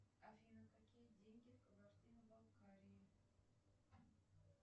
афина какие деньги в кабардино балкарии